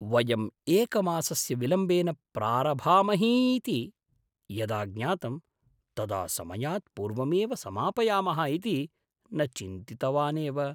वयं एकमासस्य विलम्बेन प्रारभामहीति यदा ज्ञातं, तदा समयात् पूर्वमेव समापयामः इति न चिन्तितवानेव।